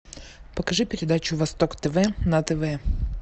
покажи передачу восток тв на тв